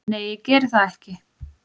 Nei, ég geri það ekki